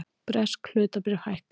Bresk hlutabréf hækka